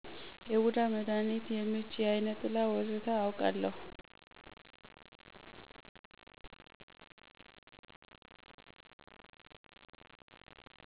የቡዳ መዳኒት፣ የምች፣ የአይነ ጥላ ወዘተ አወቃለሁ